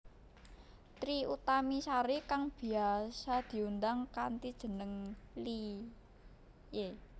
Trie Utami Sari kang biyasa diundang kanthi jeneng Iie